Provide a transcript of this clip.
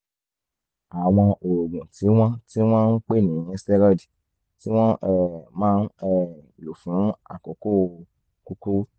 àwọn oògùn tí wọ́n tí wọ́n ń pè ní steroids tí wọ́n um máa ń um lò fún àkókò kúkúrú